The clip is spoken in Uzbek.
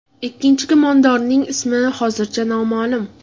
Ikkinchi gumondorning ismi hozircha noma’lum.